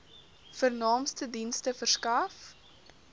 vernaamste dienste verskaf